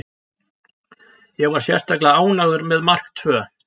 Ég var sérstaklega ánægður með mark tvö.